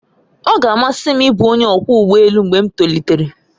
Ọ ga-amasị m ịbụ onye ọkwọ ụgbọ elu mgbe m tolitere